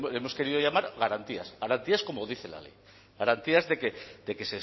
hemos querido llamar garantías garantías como dice la ley garantías de que